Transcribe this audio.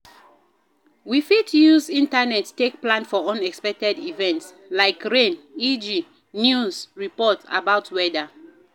we fit use internet take plan for unexpected event like rain eg news report about weather